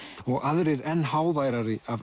og aðrir enn háværari af